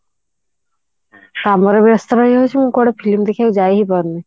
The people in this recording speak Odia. କାମରେ ବ୍ୟସ୍ତ ରହି ଯାଉଛି ମୁଁ କୁଆଡେ film ଦେଖିବାକୁ ଯାଇ ହିଁ ପାରୁନି